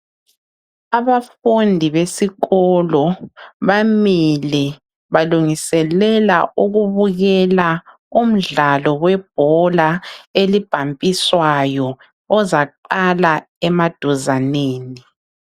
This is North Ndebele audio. Abafundi besikolo bamile balungiselela ukubukela umdlalo webhola elibhampiswayo ozaqala emaduzaneni.